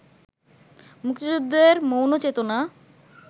মুক্তিযুদ্ধের মৌল চেতনা